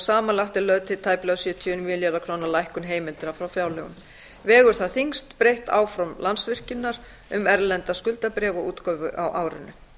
samanlagt er lögð til tæplega sjötíu og níu milljarða króna lækkun heimilda frá fjárlögum vegur þar þyngst breytt áform landsvirkjunar um erlenda skuldabréfaútgáfu á árinu